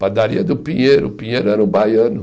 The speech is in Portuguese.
Padaria do Pinheiro, o Pinheiro era um baiano.